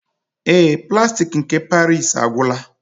Ee, plastik nke paris agwụla